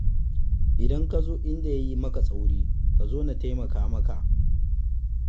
idan ka zo inda ya yi maka tsauri ka zo na taimaka maka.